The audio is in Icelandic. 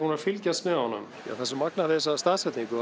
að fylgjast með honum það er magnað við þessa staðsetningu